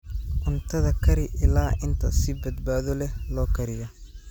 Cuntada kari ilaa inta si badbaado leh loo kariyo.